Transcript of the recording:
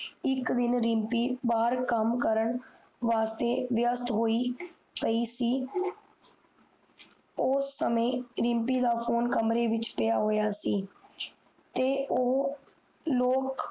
ਇਕ ਦਿਨ ਰਿਮਪੀ ਬਾਹਰ ਕਾਮ ਕਰਨ ਵਾਸਤੇ ਵਯਾਸ ਹੋਇ ਪਾਈ ਸੀ ਉਸ ਸਮਯ ਰਿਮਪੀ ਦਾ ਫੋਨ ਕਮਰੇ ਵਿਚ ਪੀਯਾ ਸੀ ਤੇ ਓਹੋ ਲ਼ੋਕ